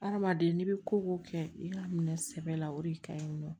Hadamaden n'i bɛ ko ko kɛ i ka minɛ sɛbɛ la o de ka ɲi nɔ